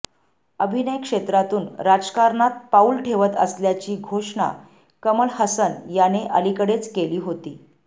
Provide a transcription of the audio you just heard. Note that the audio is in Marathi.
अभिनय क्षेत्रातून राजकारणात पाऊल ठेवत असल्याची घोषणा कमल हसन याने अलीकडेच केली होती